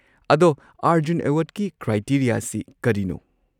ꯑꯗꯣ ꯑꯔꯖꯨꯟ ꯑꯦꯋꯥꯔꯗꯀꯤ ꯀ꯭ꯔꯥꯏꯇꯦꯔꯤꯌꯥꯁꯤ ꯀꯔꯤꯅꯣ?